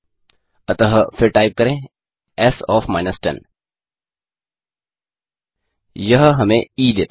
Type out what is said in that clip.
अतः फिर टाइप करें एस ओएफ 10 यह हमें ई देता है